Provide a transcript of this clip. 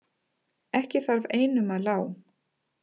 Ekki þarf einum að lá.